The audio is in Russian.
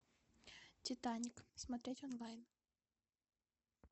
титаник смотреть онлайн